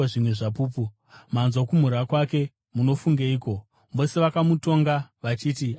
Manzwa kumhura kwake. Munofungeiko?” Vose vakamutonga vachiti aifanira kufa.